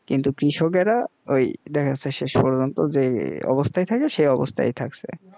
কিন্তু কৃষকেরা ওই দেখা যাচ্ছে শেষ পর্যন্ত যে অবস্থায় থাকে সেই অবস্থায়ই থাকছে